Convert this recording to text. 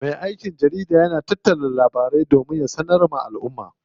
Me aikin jarida yana tattara labarai sannan ya sanar wa alʼumma.